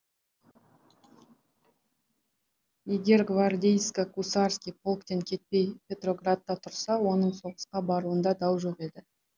егер гвардейско гусарский полктен кетпей петроградта тұрса оның соғысқа баруында дау жоқ еді